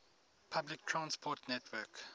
public transport network